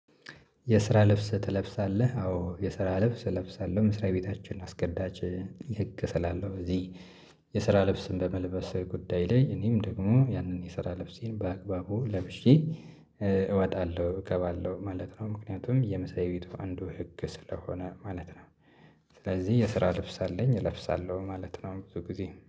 የስራ ልብስ ትለብሳለህ? አዎ የስራ ልብስ እለብሳለሁ መስሪያ ቤታችን አስገዳጅ ህግ ስላለው እዚህ። የስራ ልብስን በመልበስ ጉዳይ ላይ እኔም ደግሞ ያንን የስራ ልብሴን በአግባቡ ለብሼ እወጣለሁ እገባለሁ ማለት ነው። ምክንያቱም የመስርያቤቱ አንዱ ህግ ስለሆነ ማለት ነው። ስለዚህ የስራ ልብስ አለኝ እለብሳለሁ ማለት ነው ብዙ ጊዜ